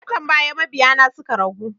Watan baya mabiya na suka ragu